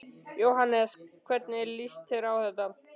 Jóhannes: Hvernig líst þér á þetta?